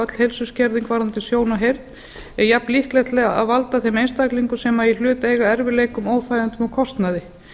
öll heilsuskerðing varðandi sjón og heyrn erljafn líkleg til að valda þeim einstaklingum sem í hlut eiga erfiðleikum óþægindum og kostnaði